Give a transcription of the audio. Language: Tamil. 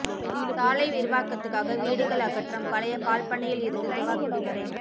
சாலை விரிவாக்கத்துக்காக வீடுகள் அகற்றம் பழைய பால்பண்ணையில் இருந்து துவாக்குடி வரை